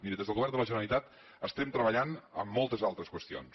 miri des del govern de la generalitat estem treballant en moltes altres qüestions